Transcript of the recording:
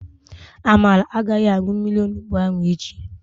Amara agaghị aṅụ mmiri onugbo ahụ echi.